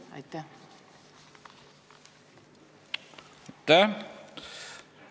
Aitäh!